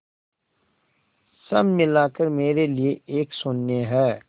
सब मिलाकर मेरे लिए एक शून्य है